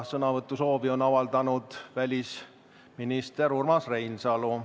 Sõnavõtusoovi on avaldanud välisminister Urmas Reinsalu.